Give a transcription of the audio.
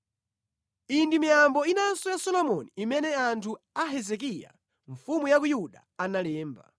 Iyi ndi miyambo inanso ya Solomoni, imene anthu a Hezekiya mfumu ya ku Yuda analemba.